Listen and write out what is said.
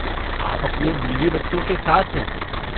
आप अपने बीवी बच्चों के साथ हैं।